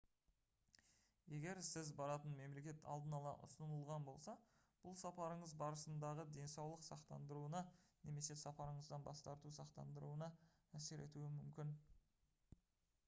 егер сіз баратын мемлекет алдын ала ұсынылған болса бұл сапарыңыз барысындағы денсаулық сақтандыруына немесе сапарыңыздан бас тарту сақтандыруына әсер етуі мүмкін